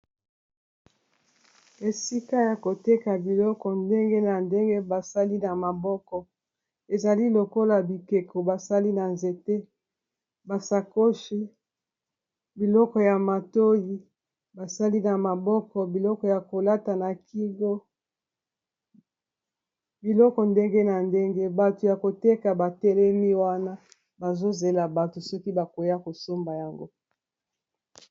esika ya koteka biloko ndenge na ndenge basali na maboko ezali lokola bikeko basali na nzete basakoshi biloko ya matoyi basali na maboko biloko ya kolata na kingo biloko ndenge na ndenge bato ya koteka batelemi wana bazozela bato soki bakwea kosomba yango